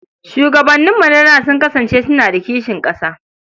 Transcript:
Shugabanninmu na da sun kasance suna da kishin ƙasa.